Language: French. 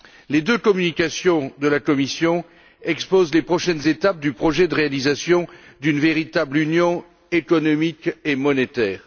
Les deux communications de la Commission exposent les prochaines étapes du projet de réalisation d'une véritable Union économique et monétaire.